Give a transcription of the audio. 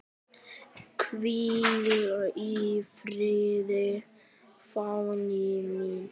Hvíl í friði, Fanný mín.